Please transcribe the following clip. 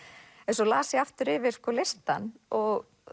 svo las ég aftur yfir listann og